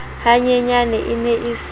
hanyenyane e ne e se